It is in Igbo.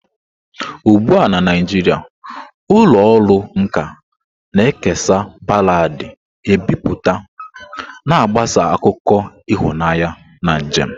Ugbu a na Naijiria, ụlọ ọrụ nka na-ekesa baladi ebipụta, na-agbasa akụkọ ịhụnanya na njem.